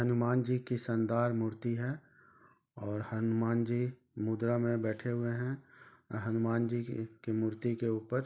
हुनमान जी की मूर्ति है और हनुमान जी मुद्रा मे बैठे हुए है हमुनान जी की की मूर्ति के उपर --